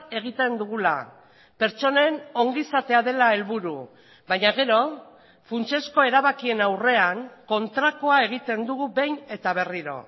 egiten dugula pertsonen ongizatea dela helburu baina gero funtsezko erabakien aurrean kontrakoa egiten dugu behin eta berriro